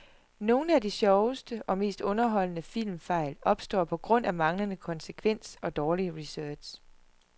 Nogle af de sjoveste og mest underholdende filmfejl opstår på grund af manglende konsekvens og dårlig research.